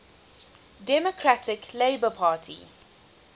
democratic labour party